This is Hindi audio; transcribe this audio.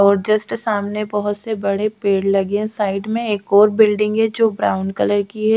और जस्ट सामने बोहोत से बड़े पेड़ लगे साइड में एक और बिल्डिंग है जो ब्राउन कलर की है ।